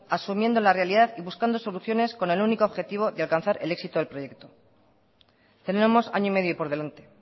asumiendo la realidad y buscando soluciones con el único objetivo de alcanzar el éxito del proyecto tenemos año y medio por delante